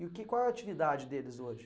E que qual é a atividade deles hoje?